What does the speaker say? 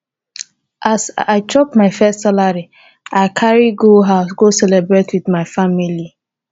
as i chop my first salary i carry go house go celebrate with my family.